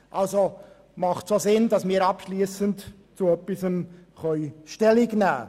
Also macht es auch Sinn, dass wir dazu abschliessend Stellung nehmen können.